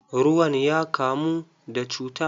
Ruwan ya kamu da cuta.